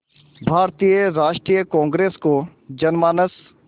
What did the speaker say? भारतीय राष्ट्रीय कांग्रेस को जनमानस